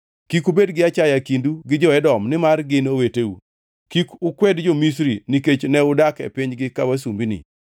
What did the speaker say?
Kik ubed gi achaya e kindu gi jo-Edom nimar gin oweteu. Kik ukwed jo-Misri nikech ne udak e pinygi ka wasumbini.